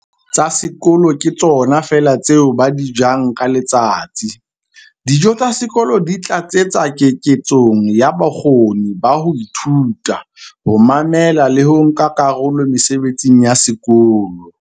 "tsa sekolo ke tsona feela tseo ba di jang ka letsatsi. Dijo tsa sekolo di tlatsetsa keketsong ya bokgoni ba ho ithuta, ho mamela le ho nka karolo mesebetsing ya sekolo".